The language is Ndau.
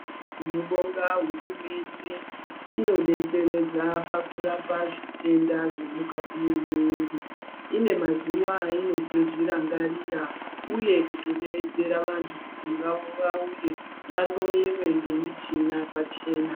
Tinobonga hurumende inodetseredza pakurapa zvitenda zvemukati memuviri. Ine mazuva ainotozvirangarira. Uye kutodeedzera vantu kuti vauye vahloyewe ngemichina pachena.